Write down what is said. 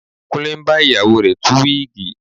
Kúnlé ń bá ìyàwó rẹ̀ tú wíìgì